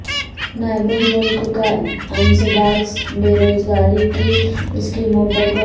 نائب الملک کا انسداد بے روزگاری کی اسکیموں پر غور